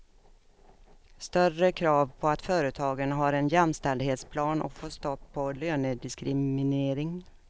Större krav på att företagen har en jämställdhetsplan och få stopp på lönediskriminering.